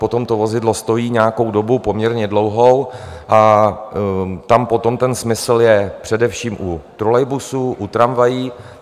Potom to vozidlo stojí nějakou dobu, poměrně dlouhou, a tam potom ten smysl je především u trolejbusů, u tramvají.